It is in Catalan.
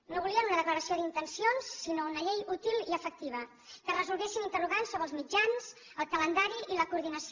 no volien una declaració d’intencions sinó una llei útil i efectiva que resolgués interrogants sobre els mitjans el calendari i la coordinació